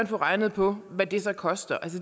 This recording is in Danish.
få regnet på hvad det så koster